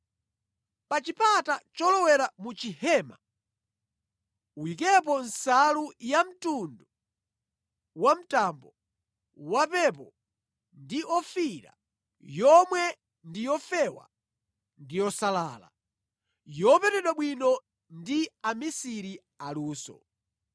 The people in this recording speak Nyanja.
“Pa chipata cholowera mu chihema, uyikepo nsalu yamtundu wamtambo, wapepo ndi ofiira, yomwe ndi yofewa ndi yosalala, yopetedwa bwino ndi amisiri aluso.